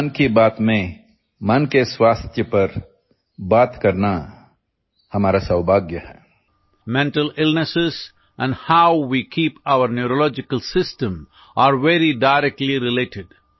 इस मन की बात में मन के स्वास्थ्य पर बात करना हमारा सौभाग्य है mental illnesses and how we keep our neurological system are very directly related